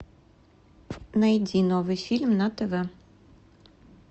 найди новый фильм на тв